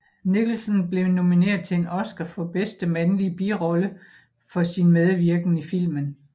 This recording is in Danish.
Nicholson blev nomineret til en Oscar for bedste mandlige birollefor sin medvirken i filmen